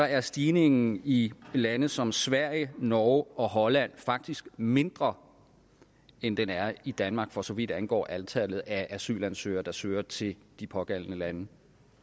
er stigningen i lande som sverige norge og holland faktisk mindre end den er i danmark for så vidt angår antallet af asylansøgere der søger til de pågældende lande